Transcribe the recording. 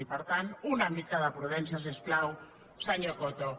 i per tant una mica de prudència si us plau senyor coto